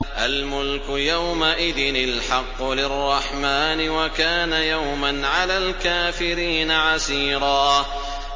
الْمُلْكُ يَوْمَئِذٍ الْحَقُّ لِلرَّحْمَٰنِ ۚ وَكَانَ يَوْمًا عَلَى الْكَافِرِينَ عَسِيرًا